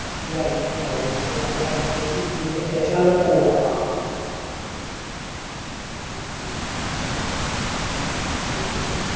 ഈന് validity ഇണ്ടാകും means വണ്ടി purchase ചെയ്തേന് ശേഷം ആണലോ പോകുവാ ആ ആ okay okay ആ ആ